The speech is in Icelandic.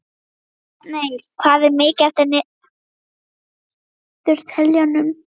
Bjartmey, hvað er mikið eftir af niðurteljaranum?